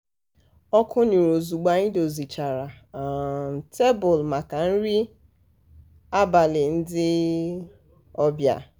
ọkụ nyuru ozugbo anyị dozichara um tebụl maka nri um abalị ndị um ọbịa.